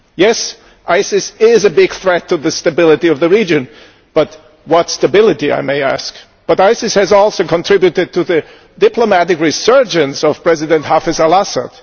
Yes, ISIS is a big threat to the stability of the region but what stability, I may ask? ISIS has also contributed to the diplomatic resurgence of President al Assad.